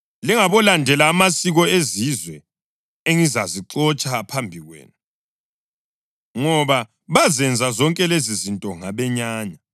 Lingabolandela amasiko ezizwe engizazixotsha phambi kwenu. Ngoba bazenza zonke lezizinto ngabenyanya.